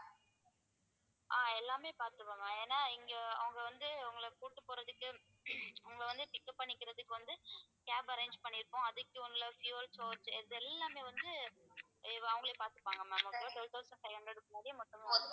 ஆஹ் எல்லாமே பார்த்துப்பாங்க ஏன்னா இங்கே அவங்க வந்து உங்களை கூட்டிட்டு போறதுக்கு அவங்க வந்து pick up பண்ணிக்கிறதுக்கு வந்து cab arrange பண்ணிருக்கோம் அதுக்கு உங்களை fuel source இது எல்லாமே வந்து அவங்களே பார்த்துப்பாங்க ma'am twelve thousand five hundred க்குள்ளயே மொத்தமா